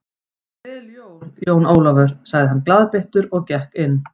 Gleðileg jól, Jón Ólafur sagði hann glaðbeittur og gekk inn.